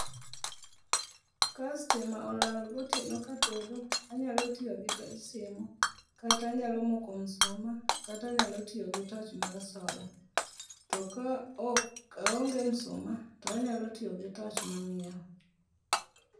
Ka stima olal gotieno katedo anyalo tiyo gi toj simu kata anyalo moko msuma kata anyalo tiyo gi toch mar sola. To kaonge msuma to anyalo tiyo gi toch mangiewo.